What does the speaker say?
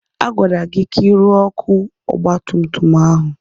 Agwara gị ka ị rụọ ọkụ ọgbatumtum ahụ!